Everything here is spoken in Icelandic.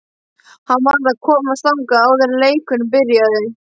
Hann varð að komast þangað áður en leikurinn byrjaði.